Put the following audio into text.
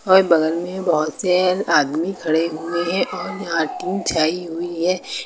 और बगल में बहोत से आदमी खड़े हुए हैं और यहां टीन छाई हुई है।